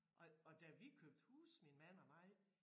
Og og da vi købte hus min mand og mig